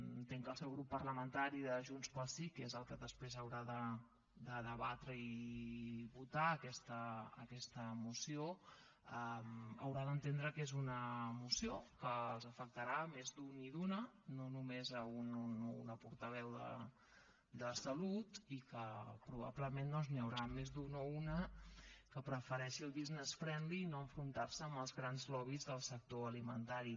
entenc que el seu grup parlamentari de junts pel sí que és el que després haurà de debatre i votar aquesta moció haurà d’entendre que és una moció que els afectarà a més d’un i d’una no només a un o una portaveu de salut i que probablement doncs n’hi haurà més d’un o una que prefereixi el business friendly i no enfrontar se amb els grans lobbys del sector alimentari